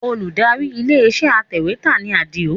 Olùdarí ilé iṣẹ́ atẹ̀wẹ́tà ni Adio